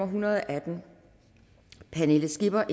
hundrede og atten pernille skipper